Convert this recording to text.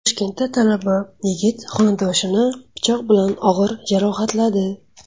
Toshkentda talaba yigit xonadoshini pichoq bilan og‘ir jarohatladi.